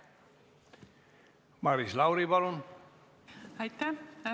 Maris Lauri, palun!